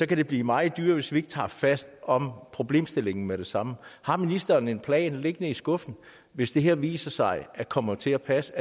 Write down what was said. kan blive meget dyrere hvis vi ikke tager fat om problemstillingen med det samme har ministeren en plan liggende i skuffen hvis det her viser sig at komme til at passe